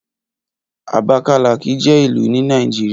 Abakalaki je ilu ni Nàìjíríà.